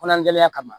Kɔnɔnan gɛlɛn kama